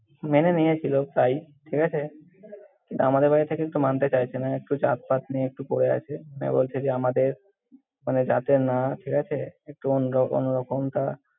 মেনে নিয়েছিল তাই, ঠিক আছে। কিন্তু, আমাদের বাড়ি থেকে একটু মানতে চাইছে না, একটু জাত-পাত নিয়ে একটু পড়ে আছে। মানে বলছে যে আমাদের মানে জাতের না ঠিক আছে, একটু অন্য~ অন্যরকম তা।